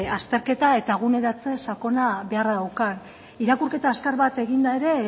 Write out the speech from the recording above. azterketa eta eguneratze sakona beharra daukan irakurketa azkar bat eginda ere